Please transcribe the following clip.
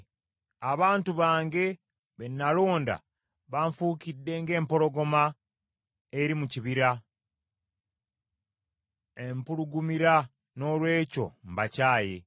Abantu bange be nalonda banfuukidde ng’empologoma eri mu kibira; empulugumira, noolwekyo mbakyaye.